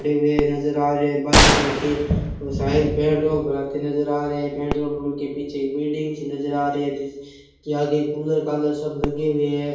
हुए नजर आ रहे बाइक लेके ओ शायद पेट्रोल भराते नजर आ रहे हैं पेट्रोल पंप के पीछे एक बिल्डिंग भी नजर आ रही है जिसके आगे कूलर कालर सब लगे हुए है।